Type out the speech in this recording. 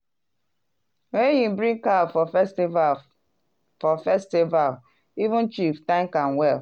when he bring cow for festival for festival even chief thank am well.